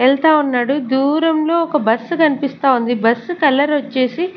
ఎళ్తా ఉన్నాడు దూరంలో ఒక బస్ కనిపిస్తా ఉంది బస్ కలర్ వచ్చేసి.